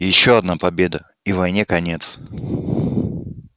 ещё одна победа и войне конец